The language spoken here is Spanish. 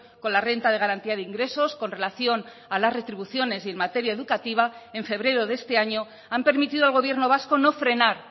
con la renta de garantía de ingresos con relación a las retribuciones y en materia educativa en febrero de este año han permitido al gobierno vasco no frenar